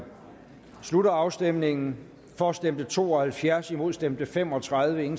slutter afstemningen for stemte to og halvfjerds imod stemte fem og tredive